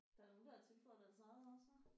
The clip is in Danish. Der er nogen der har tilføjet deres eget også hva